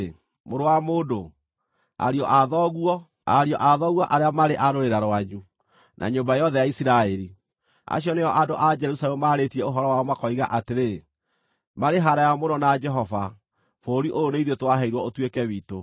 “Mũrũ wa mũndũ, ariũ a thoguo, ariũ a thoguo arĩa marĩ a rũrĩra rwanyu na nyũmba yothe ya Isiraeli, acio nĩo andũ a Jerusalemu maarĩtie ũhoro wao makoiga atĩrĩ, ‘Marĩ haraaya mũno na Jehova; bũrũri ũyũ nĩ ithuĩ twaheirwo ũtuĩke witũ.’